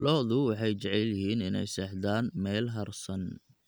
Lo'du waxay jecel yihiin inay seexdaan meel hadhsan.